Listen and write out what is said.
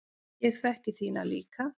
Ég þekki þína líka.